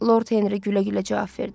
Lord Henri gülə-gülə cavab verdi.